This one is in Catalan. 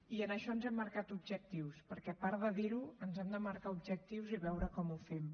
i en això ens hem marcat objectius perquè a part de dir ho ens hem de marcar objectius i veure com ho fem